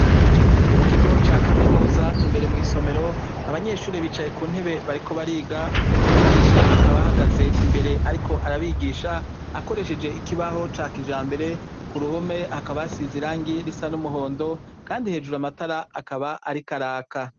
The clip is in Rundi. Mu kigo ca kaminuza imbere mw'isomero abanyeshuri bicaye ku ntebe bariko bariga umwigisha akabahagaze imbere, ariko arabigisha akoresheje ikibaho ca kija mbere ku ruhome hakabasize irangi risa n'umuhondo, kandi hejuru amatara akaba arikaraka.